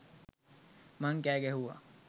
මං කෑ ගැහුවා.